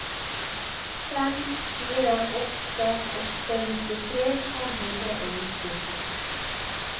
fem fire åtte åtte nittitre fem hundre og nittito